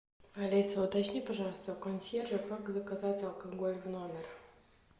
алиса уточни пожалуйста у консьержа как заказать алкоголь в номер